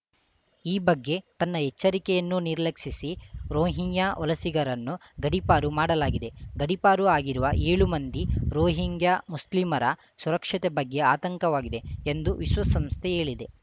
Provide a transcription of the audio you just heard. ಈ ಬಗ್ಗೆ ತನ್ನ ಎಚ್ಚರಿಕೆಯನ್ನೂ ನಿರ್ಲಕ್ಷಿಸಿ ರೋಹಿಂಗ್ಯಾ ವಲಸಿಗರನ್ನು ಗಡೀಪಾರು ಮಾಡಲಾಗಿದೆ ಗಡೀಪಾರು ಆಗಿರುವ ಏಳು ಮಂದಿ ರೋಹಿಂಗ್ಯಾ ಮುಸ್ಲಿಮರ ಸುರಕ್ಷತೆ ಬಗ್ಗೆ ಆತಂಕವಾಗಿದೆ ಎಂದು ವಿಶ್ವಸಂಸ್ಥೆ ಹೇಳಿದೆ